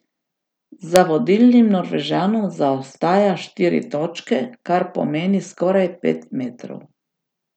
Za vodilnim Norvežanom zaostaja štiri točke, kar pomeni skoraj pet metrov.